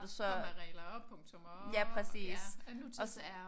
Og med regler og punktummer og